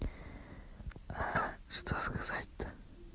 а что сказать-то